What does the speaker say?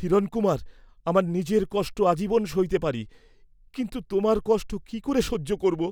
হিরণকুমার আমার নিজের কষ্ট আজীবন সইতে পারি, কিন্তু তোমার কষ্ট কি করে সহ্য করব?